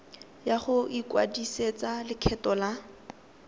ya go ikwadisetsa lekgetho la